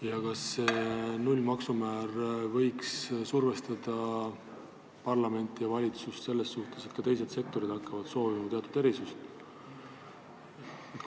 Ja kas see tulumaksu nullmäär võiks survestada parlamenti ja valitsust selles mõttes, et ka teised sektorid hakkavad soovima teatud erisust?